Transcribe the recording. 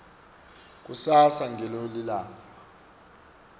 kusasa ngilo lilanga